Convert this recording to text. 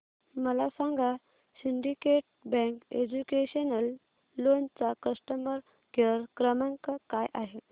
मला सांगा syndicate bank educational loan चा कस्टमर केअर क्रमांक काय आहे